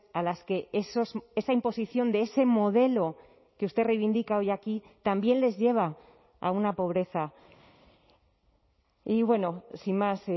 a las que esa imposición de ese modelo que usted reivindica hoy aquí también les lleva a una pobreza y bueno sin más